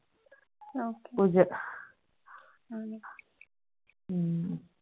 okay Puja